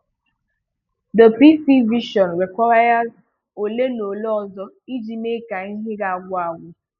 The PC version rēkwùíres ole na ole ọzọ iji mee ka ihe ga-agwụ̀ agwụ.